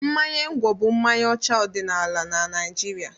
Mmanya ngwọ bụ mmanya ọdịnala na Naịjirịa.